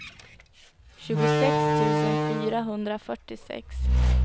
tjugosex tusen fyrahundrafyrtiosex